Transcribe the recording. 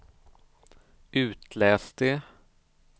itläs det